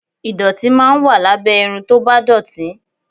Ìdọ̀tí máa ń wà lábẹ́ irun tó bá dọ̀tí